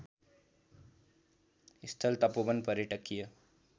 स्थल तपोवन पर्यटकीय